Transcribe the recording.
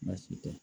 Baasi tɛ